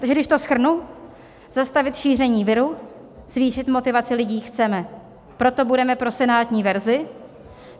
Takže když to shrnu: Zastavit šíření viru, zvýšit motivaci lidí chceme, proto budeme pro senátní verzi.